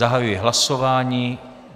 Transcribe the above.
Zahajuji hlasování.